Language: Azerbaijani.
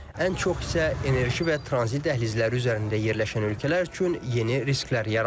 Ən çox isə enerji və tranzit dəhlizləri üzərində yerləşən ölkələr üçün yeni risklər yaradır.